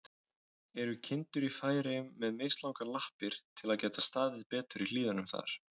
Eru kindur í Færeyjum með mislangar lappir, til að geta staðið betur í hlíðunum þar?